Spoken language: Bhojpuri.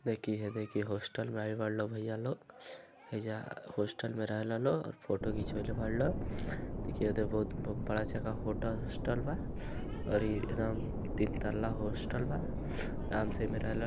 देख इहे देख इ हॉस्टल में आइल बाड़े इ लो भईया लो। हइजा हॉस्टल में रहेला लो और फोटो घींचवईले बाड़े लो। देखी ओदे बहुत ब बड़ा चका होटल हॉस्टल बा औरी एदम तीन तल्ला हॉस्टल बा। आराम से एमे रहेल --